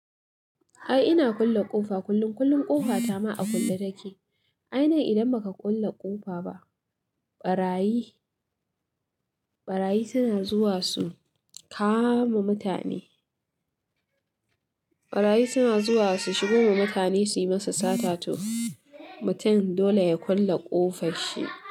Ai ina kulle ƙofa kullum, kullum ƙofa ta ma a kulle take. Ai nan idan ba ka kulle ƙofa ba, ɓarayi, ɓarayi suna zuwa su kama mutane. Ɓarayi suna zuwa su shigo ma mutane suyi masa sata to mutum dole ya kulle ƙofar shi.